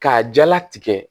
K'a jala tigɛ